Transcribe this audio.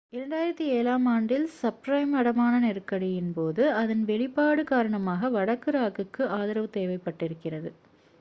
2007 ஆம் ஆண்டில் சப்பிரைம் அடமான நெருக்கடியின் போது அதன் வெளிப்பாடுக் காரணமாக வடக்கு ராக்குக்கு ஆதரவு தேவைப்பட்டிருக்கிறது